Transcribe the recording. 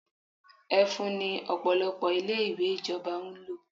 Ẹfun ni Ọ̀pọ̀lọpọ̀ ilé-ìwé ìjọba ń lò.